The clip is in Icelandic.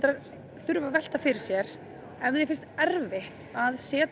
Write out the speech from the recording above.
þurfa að velta fyrir sér ef þér finnst erfitt að setja